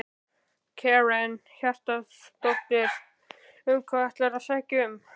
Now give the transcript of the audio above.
Karen Kjartansdóttir: Um hvað, hvað ætlarðu að sækja um?